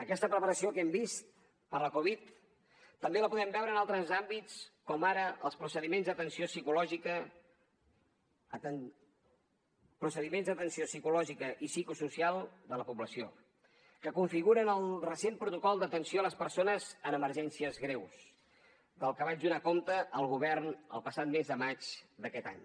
aquesta preparació que hem vist per la covid també la podem veure en altres àmbits com ara en els procediments d’atenció psicològica i psicosocial de la població que configuren el recent protocol d’atenció a les persones en emergències greus del que vaig donar compte al govern el passat mes de maig d’aquest any